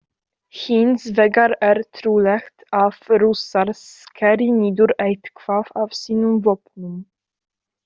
Hins vegar er trúlegt að Rússar skeri niður eitthvað af sínum vopnum.